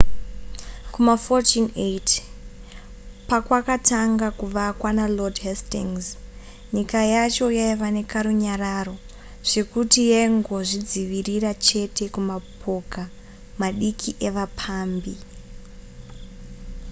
kuma 1480 pakwakatanga kuvakwa nalord hastings nyika yacho yaiva nekarunyararo zvekuti yaingozvidzivirira chete kumapoka madiki evapambi